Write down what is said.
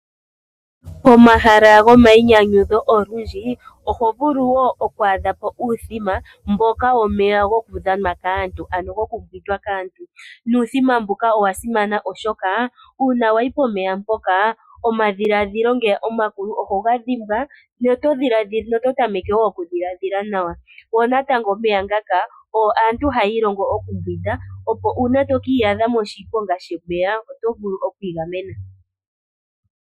Pomahala gomayinyanyudho oho vulu wo wu adhe po uuthima mboka womeya gokudhanwa kaantu, ano gokumbwindwa kaantu. Uuthima mbuka owa simana, oshoka uuna wa yi pomeya mpoka omadhiladhilo ngeya omakulu oho ga dhimbwa noto tameke wo okudhiladhila nawa. Omeya ngaka ogo aantu haya ilongo okumbwinda, opo uuna to ka iyadha moshiponga shomeya oto vulu oku igamena.